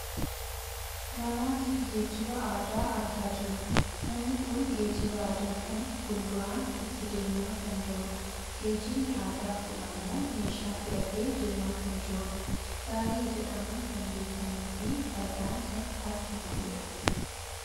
Namaa fi geejjiba aadaa argaa jirra. Namni kun geejjiba aadaa kana fuulduraan itti deemaa kan jirudha. Geejjibni aadaa kun ammoo messhaa fe'atee deemaa kan jirudha. Gaarii jedhamuun kan beekkamuufi fardaan kan harkifamudha.